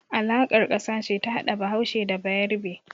Alaƙar ƙasa ce ta hada Bahaushe da Bayarbe.